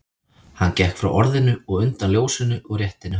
Hann gekk frá orðinu og undan ljósinu og rétti henni höndina.